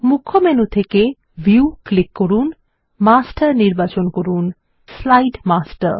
মুখ্য মেনু থেকেভিউ ক্লিক করুন মাস্টার নির্বাচন করুন স্লাইড মাস্টার